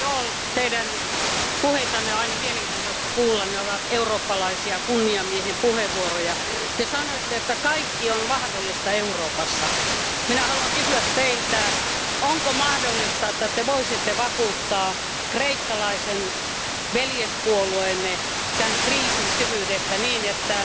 Arvoisa puhemies, arvoisa herra Daul, Teidän puheitanne on aina mielenkiintoista kuunnella. Ne ovat eurooppalaisia, kunnian miehen puheenvuoroja. Te sanoitte, että kaikki on mahdollista Euroopassa. Minä haluan kysyä Teiltä, onko mahdollista, että Te voisitte vakuuttaa kreikkalaisen veljespuolueenne tämän kriisin syvyydestä niin, että